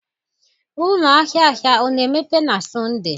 Ụlọ ahịa ahịa ọ na-emepe na Sọnde?